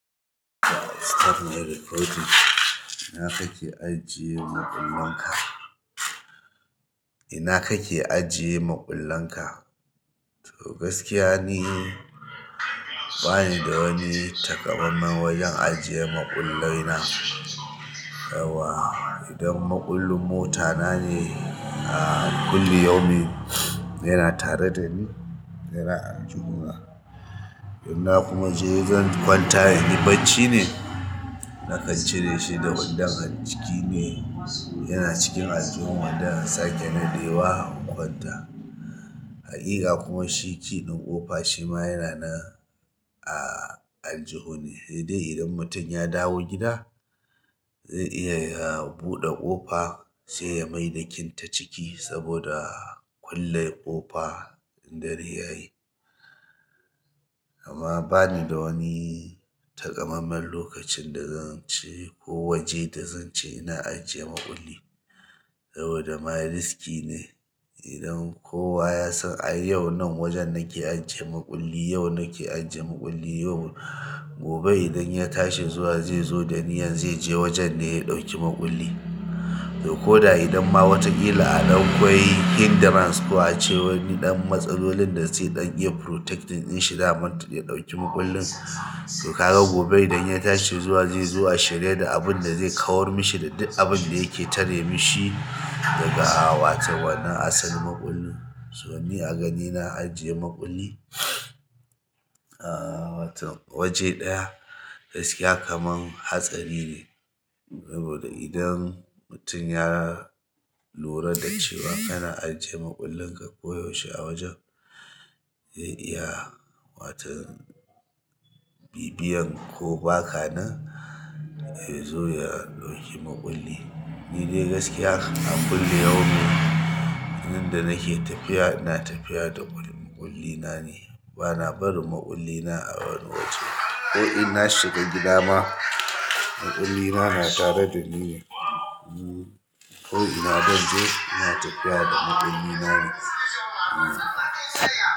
Ina kake ajiye maƙullin ka? Ina kake ajiye maƙullin ka? To gaskiya ni bani da wani takamammen wajen ajiyan maƙullai na. Dawwa idan maƙullin mota na ne, a kullu yau min yana tare da ni, yana aljihu na. Inna kuma je zan kwanta, inyi bacci ne, na kan cire shi da wanda han ciki ne, yana cikin aljihun wanda na sake na dewa in kwanta. Hakika kuma shi key na ƙofa shi ma yana nan a aljihu ne, hedai idan mutum ya dawo gida, zai iya ya buɗe ƙofa saiya maida kin ta ciki saboda ya kulle ƙofa dare yayi amma bani da wani takamammen lokacin da zan ce ko waje da zan ce ina ajiye maƙulli. Saboda ma riski ne idan kowa ya san, "ai yau nan wajen nake ajiye maƙulli, yau nake ajiye maƙulli yau." Gobe idan ya tashi zuwa zai zo da niyyan zai je wajen ne ya ɗauki maƙulli. To ko da idamma wata kila adan kwai entrance ko ace wani dan matsalolin da se dan iya protecting dinshi dama ya ɗauki ma kullin to ka ga gobe idan ya tashi zuwa zai zuwa a shirye da abin da zai kawar mishi da duk abin da yake tare mishi daga wato wanda asalin maƙullin. To ni a gani ina ajiye maƙulli, a waton waje ɗaya gaskiya kamar hatsari ne. Saboda idan mutum ya lura da cewa kana ajiye maƙullin ka koyaushe a wajen, zai iya waton bibiyan ko baka nan ya zo ya ɗauki maƙulli. Ni dai gaskiya a kullum yau mun, inda nake tafiya ina tafiya da maƙulli na ne. Bana barin maƙulli na a wani waje. Ko in na shiga gida ma, maƙulli na na tare da ni ne. Hmm. Ko ina dan je, ina tafiya da maƙulli na ne. Hmm.